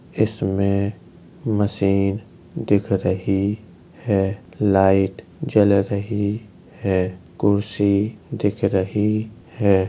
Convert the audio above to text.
इसमें मशीन दिख रही है। लाइट जल रही है। कुर्सी दिख रही है।